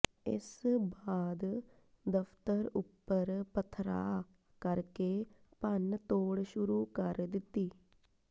ਇਸ ਬਾਅਦ ਦਫ਼ਤਰ ਉਪਰ ਪਥਰਾਅ ਕਰਕੇ ਭੰਨਤੋਡ਼ ਸ਼ੁਰੂ ਕਰ ਦਿੱਤੀ